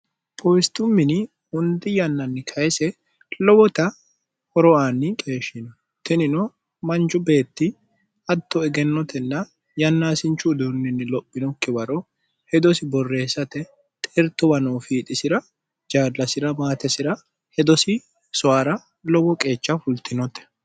powistu mini hundi yannanni kayise lowota horoaanni qeeshshino tinino manju beetti hatto egennotenna yannaasinchu uduunninni lophinokke waro hedosi borreessate xertowa noo fiixisira jaadlasi'ra maatesira hedosi soyara lowo qeecha fultinote